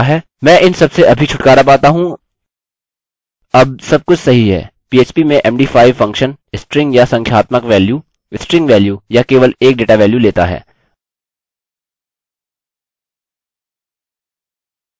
मैं इन सबसे अभी छुटकारा पाता हूँ अब सब कुछ सही है php में md5 फंक्शन स्ट्रिंग या संख्यात्मक वैल्यू स्ट्रिंग वैल्यू या केवल एक डेटा वैल्यू लेता है